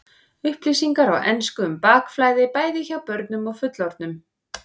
Upplýsingar á ensku um bakflæði, bæði hjá börnum og fullorðnum.